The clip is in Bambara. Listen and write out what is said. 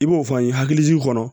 I b'o fɔ an ye hakilijiginw kɔnɔ